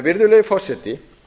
virðulegi forseti